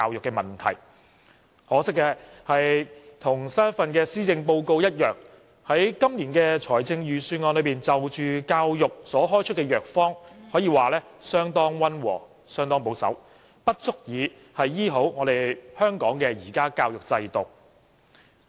可惜，與最新一份施政報告一樣，今年的預算案就教育問題所開出的藥方可以說是相當溫和及保守，不足以治癒香港現時教育制度的弊病。